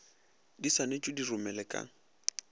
di swanetšwe di romelwe ka